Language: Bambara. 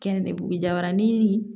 Kɛn ne bugu jabarani